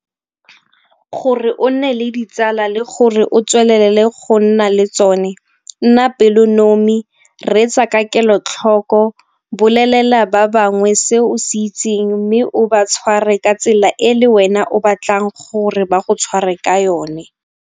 Gore o nne le ditsala le gore o tswelelele go nna le tsone nna pelonomi, reetsa ka kelotlhoko, bolelela ba bangwe se o se itseng mme o ba tshware ka tsela e le wena o batlang gore ba go tshware ka yone.